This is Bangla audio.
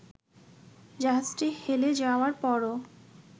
জাহাজটি হেলে যাওয়ার পরও